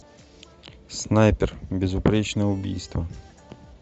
снайпер безупречное убийство